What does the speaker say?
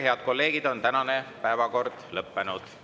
Head kolleegid, tänane on lõppenud.